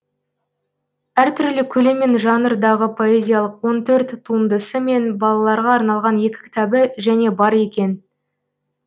әр түрлі көлем мен жанрдағы поэзиялық он төрт туындысы мен балаларға арналған екі кітабы және бар екен